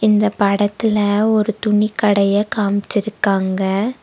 இந்தப் படத்துல ஒரு துணிக் கடைய காமிச்சிருக்காங்க.